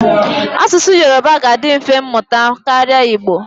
Asụsụ Yoruba ga-adị mfe ịmụta karịa Igbo.